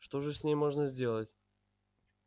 что же с ней можно сделать